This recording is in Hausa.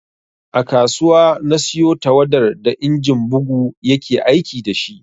A kasuwa na siyo tawadar da injin bugu ya ke aiki da shi